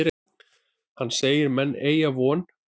Hann segir menn eygja von.